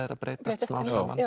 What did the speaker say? er að breytast smám saman